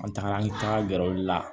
An tagara an tagara gɛrɛ olu la